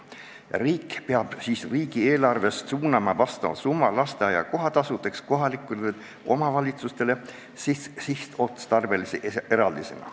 Riik peab suunama summa lasteaia kohatasudeks kohalikele omavalitsustele sihtotstarbelise eraldisena.